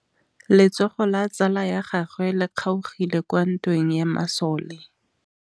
Letsôgô la tsala ya gagwe le kgaogile kwa ntweng ya masole.